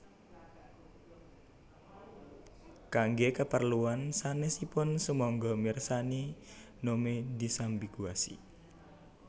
Kangge kapreluan sanèsipun sumangga mirsani Gnome disambiguasi